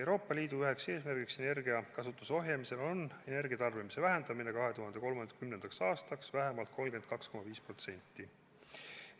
Euroopa Liidu üks eesmärke energiakasutuse ohjamisel on energiatarbimise vähendamine 2030. aastaks vähemalt 32,5%.